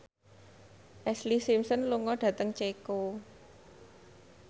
Ashlee Simpson lunga dhateng Ceko